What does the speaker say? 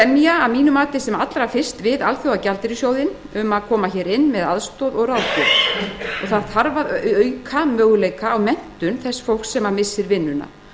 mati þarf að ræða sem allra fyrst við alþjóðagjaldeyrissjóðinn um að koma hér inn með aðstoð og ráðgjöf og það þarf að auka möguleika á menntun þess fólks sem missir vinnuna